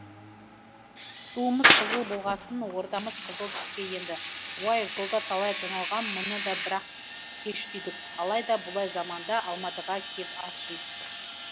туымыз қызыл болғасын ордамыз қызыл түске енді уай жолда талай тоналғам мұны да бірақ кеш түйдік алай да бұлай заманда алматыға кеп ас жидық